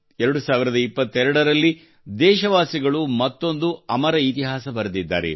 2022ರಲ್ಲಿ ದೇಶವಾಸಿಗಳು ಮತ್ತೊಂದು ಅಮರ ಇತಿಹಾಸ ಬರೆದಿದ್ದಾರೆ